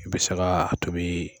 I bɛ se ka a tobi